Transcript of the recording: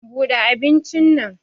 Bude abincin nan.